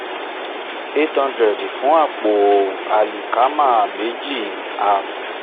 eight hundred fún àpò àlìkámà méjì at